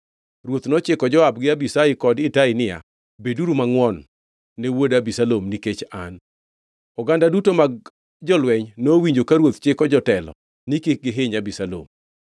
Ruoth nochiko Joab gi Abishai kod Itai niya, “Beduru mangʼwon ne wuoda Abisalom nikech an.” Oganda duto mag jolweny nowinjo ka ruoth chiko jotelo ni kik gihiny Abisalom.